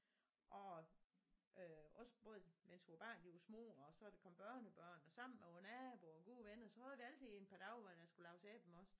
Og øh også både mens vores børn de var små og så er der kommet børnebørn og sammen med vores naboer og gode venner så havde vi altid et par dage hvor der skulle laves æblemost